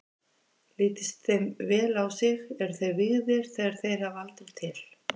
Lítist þeim vel á sig, eru þeir vígðir þegar þeir hafa aldur til.